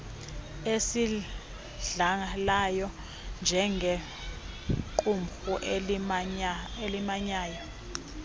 eyidlalayo njengequmrhu elimanyayo